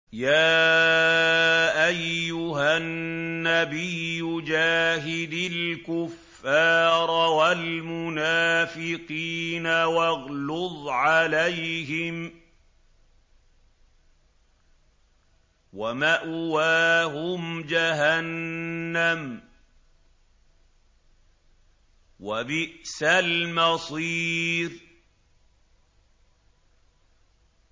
يَا أَيُّهَا النَّبِيُّ جَاهِدِ الْكُفَّارَ وَالْمُنَافِقِينَ وَاغْلُظْ عَلَيْهِمْ ۚ وَمَأْوَاهُمْ جَهَنَّمُ ۖ وَبِئْسَ الْمَصِيرُ